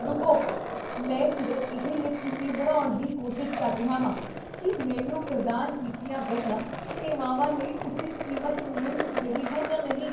ਰੁਕੋ, ਮੈਂ ਸਿਰਫ਼ ਇਹ ਯਕੀਨੀ ਬਣਾਉਣ ਦੀ ਕੋਸ਼ਿਸ਼ ਕਰ ਰਿਹਾ ਹਾਂ ਕੀ ਮੈਨੂੰ ਪ੍ਰਦਾਨ ਕੀਤੀਆਂ ਗਈਆਂ ਸੇਵਾਵਾਂ ਲਈ ਉਚਿਤ ਕੀਮਤ ਮਿਲ ਵੀ ਰਹੀ ਹੈ ਜਾਂ ਨਹੀਂ।